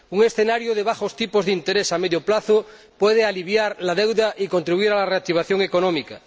Un escenario de bajos tipos de interés a medio plazo puede aliviar la deuda y contribuir a la reactivación económica.